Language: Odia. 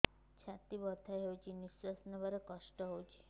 ଛାତି ବଥା ହଉଚି ନିଶ୍ୱାସ ନେବାରେ କଷ୍ଟ ହଉଚି